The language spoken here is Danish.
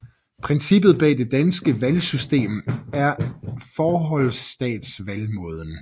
Princippet bag det danske valgsystem er forholdstalsvalgmåden